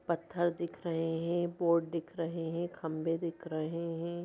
पत्थर दिख रहे हैं बोर्ड दिख रहे हैं खंभे दिख रहे हैं।